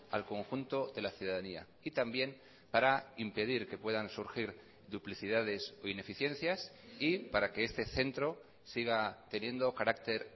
al conjunto de la ciudadanía y también para impedir que puedan surgir duplicidades o ineficiencias y para que este centro siga teniendo carácter